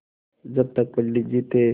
जब तक पंडित जी थे